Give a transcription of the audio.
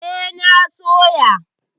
E, na soya.